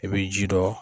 I bɛ ji dɔ